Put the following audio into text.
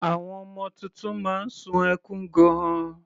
Àwọn ọmọ titun máa ń sun ẹkún gan-an.